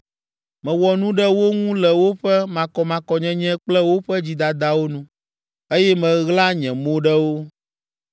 Mewɔ nu ɖe wo ŋu le woƒe makɔmakɔnyenye kple woƒe dzidadawo nu, eye meɣla nye mo ɖe wo.